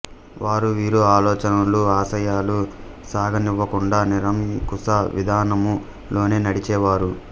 వారు వీరి ఆలోచనలూ ఆశయాలూ సాగనివ్వకుండా నిరంకుశ విధానము లోనే నడిచేవారు